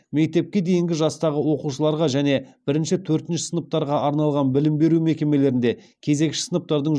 мектепке дейінгі жастағы оқушыларға және бірінші төртінші сыныптарға арналған білім беру мекемелерінде кезекші сыныптардың